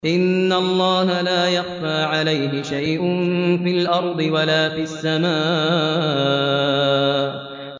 إِنَّ اللَّهَ لَا يَخْفَىٰ عَلَيْهِ شَيْءٌ فِي الْأَرْضِ وَلَا فِي السَّمَاءِ